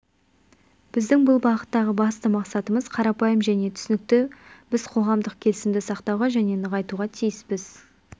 біздің бұл бағыттағы басты мақсатымыз қарапайым және түсінікті біз қоғамдық келісімді сақтауға және нығайтуға тиіспіз